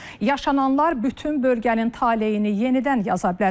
Yaşananlar bütün bölgənin taleyini yenidən yaza bilər.